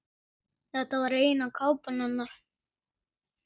Þetta er eina kápan hennar.